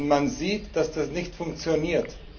Man sieht, dass das nicht funktioniert.